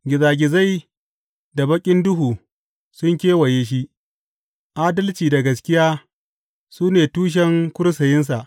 Gizagizai da baƙin duhu sun kewaye shi; adalci da gaskiya su ne tushen kursiyinsa.